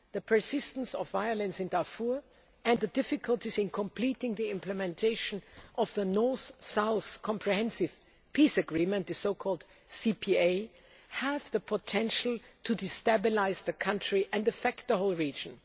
The persistence of violence in Darfur and the difficulties in completing the implementation of the North South Comprehensive Peace Agreement have the potential to destabilise the country and affect the whole region.